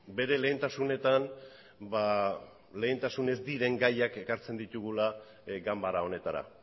bere lehentasunean ba lehentasun ez diren gaiak ekartzen ditugula ganbara honetara